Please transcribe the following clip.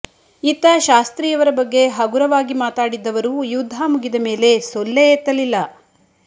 ಇತ್ತ ಶಾಸ್ತ್ರಿಯವರ ಬಗ್ಗೆ ಹಗುರವಾಗಿ ಮಾತಾಡಿದ್ದವರು ಯುದ್ಧ ಮುಗಿದ ಮೇಲೆ ಸೊಲ್ಲೇ ಎತ್ತಲಿಲ್ಲ